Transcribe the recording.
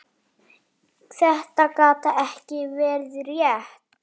Þetta gat ekki verið rétt.